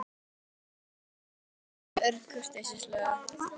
Hún mundi hjálpa, fara og athuga